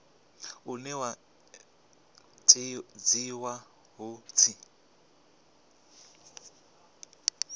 une wa tshinwa hu tshi